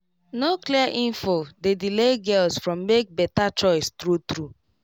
no clear info dey delay girls from make better choice true true